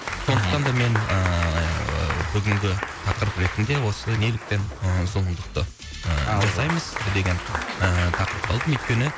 сондықтан да мен ыыы бүгінгі тақырып ретінде осы неліктен ы зұлымдықты жасаймыз деген ы тақырыпты алдым өйткені